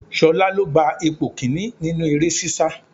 Ṣolá lo gba ipò kìíní nínú eré sisa.